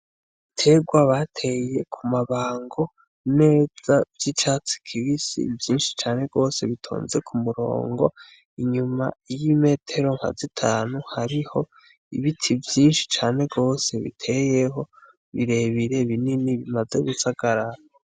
Ibiterwa bateye ku mabango neza vy’icatsi kibisi vyinshi cane gose bitonze ku murongo , inyuma y’imetero nka zitanu hariho ibiti vyinshi cane gose biteyeho birebire , binini bimaze gusagarara.